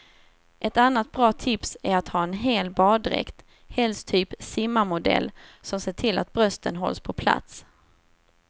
Ett annat bra tips är att ha en hel baddräkt, helst typ simmarmodell som ser till att brösten hålls på plats.